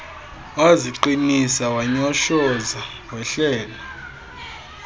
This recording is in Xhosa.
waziqinisa wanyoshoza wehlela